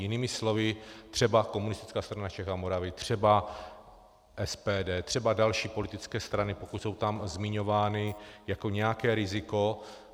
Jinými slovy třeba Komunistická strana Čech a Moravy, třeba SPD, třeba další politické strany, pokud jsou tam zmiňovány jako nějaké riziko.